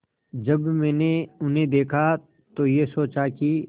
जब मैंने उन्हें देखा तो ये सोचा कि